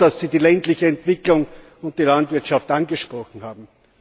Ich bin froh, dass Sie die ländliche Entwicklung und die Landwirtschaft angesprochen haben.